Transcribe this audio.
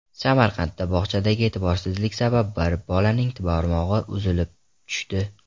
Samarqandda bog‘chadagi e’tiborsizlik sabab bir bolaning barmog‘i uzilib tushdi.